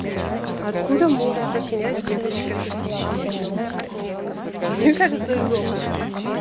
откуда может сочинять девочка такие песни ну блядь мне кажется из опыта